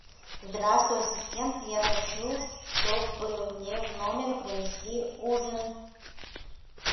здравствуй ассистент я хочу чтобы мне в номер принесли ужин